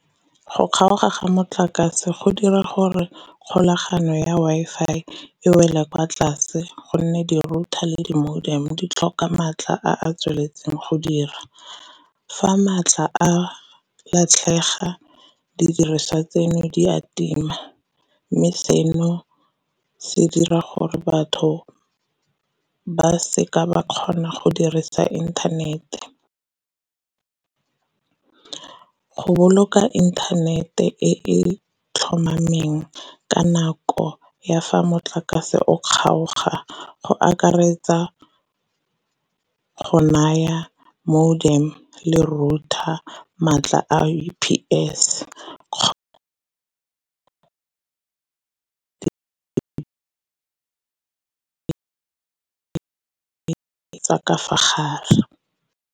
Go kgaoga ga motlakase go dira gore kgolagano ya Wi-Fi e wela kwa tlase gonne di-router le di-modem ditlhoka matlha a tsweletseng go dira. Fa maatla a latlhega didiriswa tseno di a tima, mme seno se dira gore batho ba seka ba kgona go dirisa internet-e. Go boloka internet-e e e tlhomameng ka nako ya fa motlakase o kgaoga go akaretsa go naya modem le router maatla U_P_S ka fa gare.